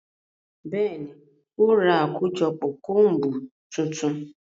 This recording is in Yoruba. Bẹẹni, o ra akojọpọ combu tuntun